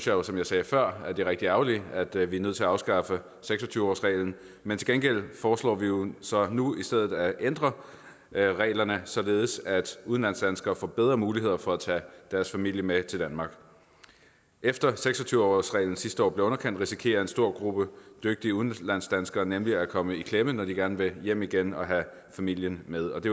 jo som jeg sagde før at det er rigtig ærgerligt at vi er nødt til at afskaffe seks og tyve årsreglen men til gengæld foreslår vi jo så nu i stedet at ændre reglerne således at udlandsdanskere får bedre muligheder for at tage deres familie med til danmark efter at seks og tyve årsreglen sidste år blev underkendt risikerer en stor gruppe dygtige udlandsdanskere nemlig at komme i klemme når de gerne vil hjem igen og have familien med og det